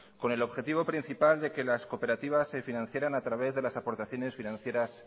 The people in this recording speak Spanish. con el objetivo principal de que las cooperativas se financiaran a través de las aportaciones financieras